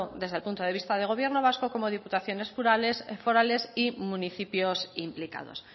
desde el punto de vista de gobierno vasco como diputaciones forales y municipios implicados